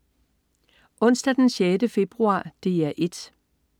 Onsdag den 6. februar - DR 1: